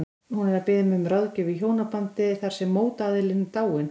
Hún er að biðja mig um ráðgjöf í hjónabandi þar sem mótaðilinn er dáinn.